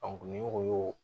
ni o y'o